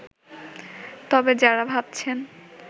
তবে যারা ভাবছেন